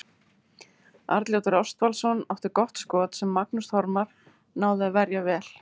Arnljótur Ástvaldsson átti gott skot sem Magnús Þormar náði að verja vel.